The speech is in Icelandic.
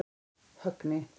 Högni